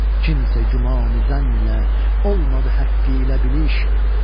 Kimsə güman-i zənn ilə olmadı həqqi ilə biliş.